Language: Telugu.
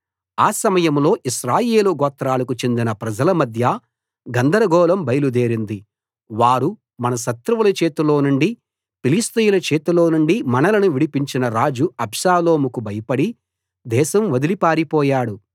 ఆ సమయంలో ఇశ్రాయేలు గోత్రాలకు చెందిన ప్రజల మధ్య గందరగోళం బయలుదేరింది వారు మన శత్రువుల చేతిలో నుండి ఫిలిష్తీయుల చేతిలో నుండి మనలను విడిపించిన రాజు అబ్షాలోముకు భయపడి దేశం వదలి పారిపోయాడు